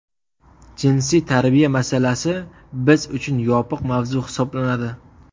Jinsiy tarbiya masalasi biz uchun yopiq mavzu hisoblanadi.